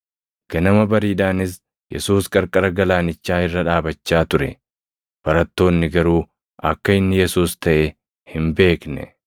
Ganama bariidhaanis Yesuus qarqara galaanichaa irra dhaabachaa ture; barattoonni garuu akka inni Yesuus taʼe hin beekne.